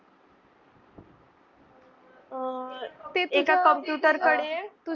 आह ते एका computer कडे तुझं.